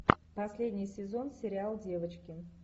последний сезон сериал девочки